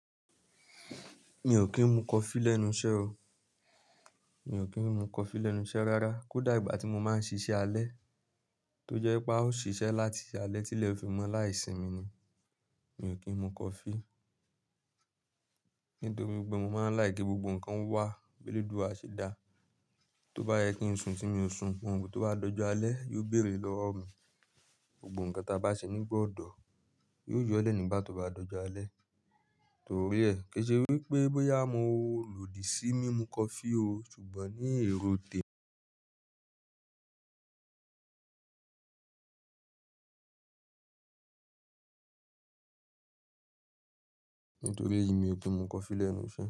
Mi ò kí ń mu coffee lẹ́nu iṣẹ́ o. Mi ò kí ń mu coffee lẹ́nu iṣẹ́ rárá. Kódà ìgbà tí mo máa ń ṣíṣe alẹ́ tó jẹ́ pé a ó ṣiṣẹ́ láti alẹ́ tí ilẹ̀ fi mọ́ láì sì mi ni, mi ò kí ń mu coffee. Nítorí pé mo máa ń like ki gbogbo nǹkan wà, bélédua ṣe dá. Tó bá yẹ kí n sun tí mi ó sun, ohun tó bá dọjọ alẹ́ yóò bèrè lọ́wọ́ mi. Gbogbo nǹkan tí a bá ṣe nígbà ọ̀dọ́, yóò yọ́lẹ̀ nígbà tó bá dọjọ alẹ́. Torí ẹ, kí ṣe wípé bóyá mo lòdì sí mí mu coffee o, ṣùgbọ́n ní èrò tè. Nítorí èyí, mi ò kí ń mu coffee lẹ́nu iṣẹ́.